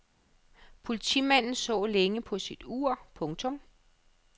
Politimanden så længe på sit ur. punktum